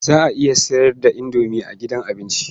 Za a iya sayar da indomi a gidan abinci.